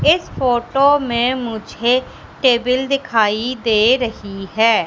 इस फोटो मे मुझे टेबल दिखाई दे रही है।